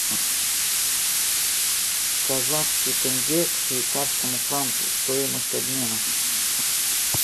казахский тенге к швейцарскому франку стоимость обмена